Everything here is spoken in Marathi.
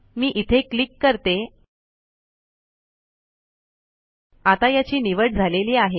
मे इथे क्लिक करते आता याची निवड झालेली आहे